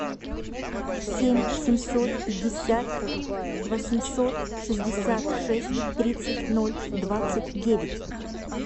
семь семьсот пятьдесят восемьсот шестьдесят шесть тридцать ноль двадцать девять